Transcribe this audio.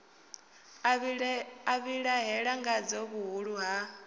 a vhilahela ngadzo vhuhulu ha